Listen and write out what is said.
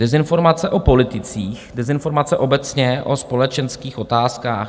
Dezinformace o politicích, dezinformace obecně o společenských otázkách.